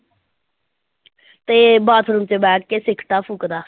ਤੇ ਬਾਥਰੂਮ ਚ ਬੈਠ ਕੇ ਸਿਗਰਟਾਂ ਫੂਕਦਾ।